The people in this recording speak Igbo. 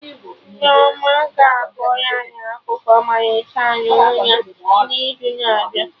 Nneoma ga-akọrọ anyị akụkụ ọmalịcha nọ n'ụra na'izu na-abịa